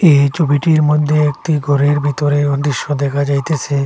এই ছবিটির মধ্যে একটি ঘরের ভিতরেও দৃশ্য দেখা যাইতেসে।